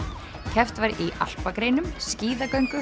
keppt var í alpagreinum skíðagöngu